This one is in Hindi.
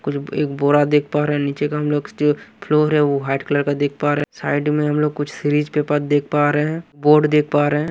कुछ एक बोरा देख पा रहे हैं नीचे का हम लोग जो फ्लोर है वो व्हाईट कलर का देख पा रहे हैं साइड में हम लोग कुछ सीरीज पेपर देख पा रहे हैं बोर्ड देख पा रहे हैं।